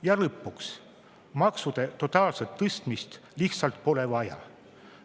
Ja lõpuks, maksude totaalset tõstmist lihtsalt pole vaja.